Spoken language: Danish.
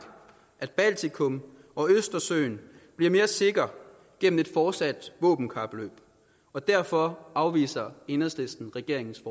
baltikum og østersøen bliver mere sikre gennem et fortsat våbenkapløb og derfor afviser enhedslisten regeringens